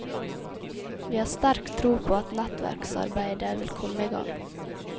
Vi har sterk tro på at nettverksarbeidet vil komme i gang.